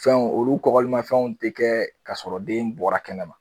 Fɛnw olu kɔlimafɛnw te kɛ k'a sɔrɔ den bɔra kɛnɛ ma